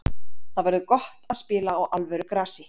Það verður gott að spila á alvöru grasi.